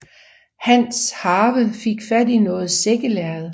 Hans harve fik fat i noget sækkelærred